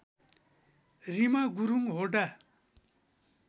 Reema Gurung Hoda